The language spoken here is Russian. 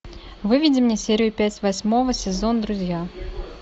выведи мне серию пять восьмого сезон друзья